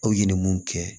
Aw ɲininiw kɛ